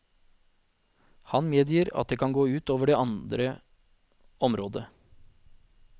Han medgir at det kan gå ut over andre området.